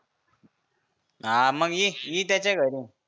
हा मग ये ये त्याच्या घरी.